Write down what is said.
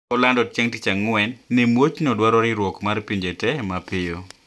Kolando chieng` Tich Ang`wen ni muochno dwaro riwruok mar pinje te mapiyo